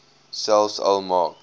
selfs al maak